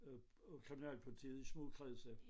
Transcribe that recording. Øh på kriminalpolitiet i små kredse